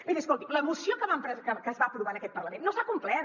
miri escolti la moció que es va aprovar en aquest parlament no s’ha complert